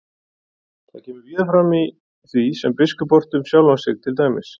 Það kemur víða fram í því sem biskup orti um sjálfan sig, til dæmis: